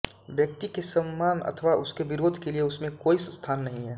व्यक्ति के संमान अथवा उसके विरोध के लिये उसमें कोई स्थान नहीं है